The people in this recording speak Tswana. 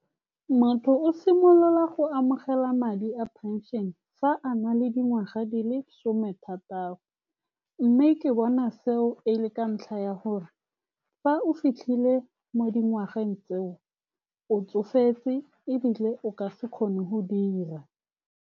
Motho o simolola go amogela madi a pension-e fa a na le dingwaga di le some thataro, mme ke bona seo e le ka ntlha ya gore fa o fitlhile mo dingwageng tseo, o tsofetse ebile o ka se kgone go dira.